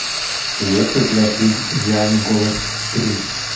есть ли у тебя фильм идеальный голос три